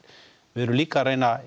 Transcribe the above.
við erum líka að reyna